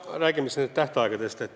Räägime siis nendest tähtaegadest.